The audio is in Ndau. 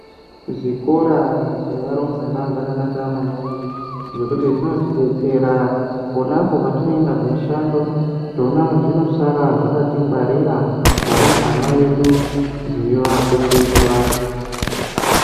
Zvikora zvevarumbwana zvakanaka maningi ngenguti zvinotidetsera ponapo patinoenda kumushando zvinosara zvakatingwarira varumbwana vedu zveivafundisa